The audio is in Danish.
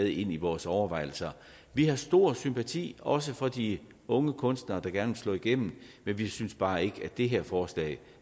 i vores overvejelser vi har stor sympati også for de unge kunstnere der gerne vil slå igennem men vi synes bare ikke at det her forslag